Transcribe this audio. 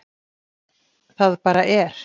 Það bara er.